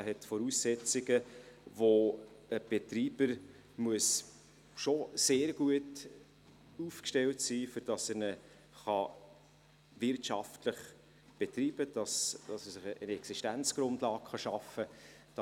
Er hat Voraussetzungen, aufgrund derer ein Betreiber schon sehr gut aufgestellt sein muss, um ihn wirtschaftlich betreiben und sich eine Existenzgrundlage schaffen zu können.